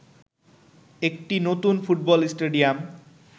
একটি নতুন football stadium